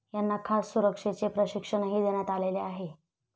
यांना खास सुरक्षेचे प्रशिक्षणही देण्यात आलेले आहे.